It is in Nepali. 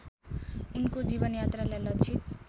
उनको जीवनयात्रालाई लक्षित